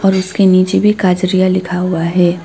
और उसके नीचे भी काजरिया लिखा हुआ है।